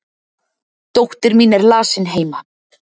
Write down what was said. dóttir mín er lasin heima